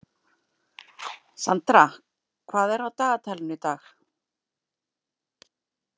Sandra, hvað er á dagatalinu í dag?